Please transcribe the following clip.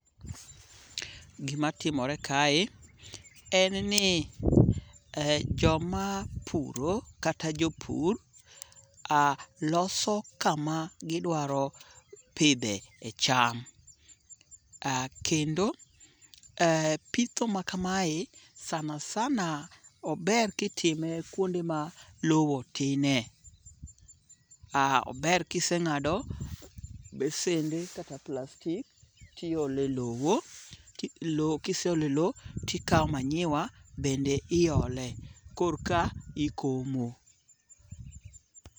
Gima timore kae en ni joma puro kata jopur loso kama gidwaro pidhe e cham. Kendo pitho makamae sana sana ober kitime kuonde ma low tine. Ober kiseng'ado besende kata plastic ti ole low. Kise ole low tikaw manyiwa bende iole korka ikomo.